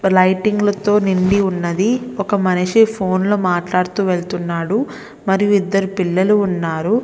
లైటింగ్ల తో నిండి ఉన్నది. ఒక మనిషి ఫోన్లో మాట్లాడుతూ వెళుతున్నాడు. మరియు ఇద్దరు పిల్లలు ఉన్నారు.